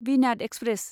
विनाद express